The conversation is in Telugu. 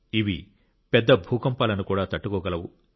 ఇవి పెద్ద భూకంపాలను కూడా తట్టుకోగలవు